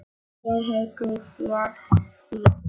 Ég heiti þér því.